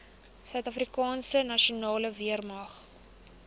suidafrikaanse nasionale weermag